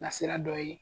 Nasira dɔ ye